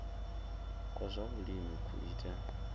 kwa zwa vhulimi ku ita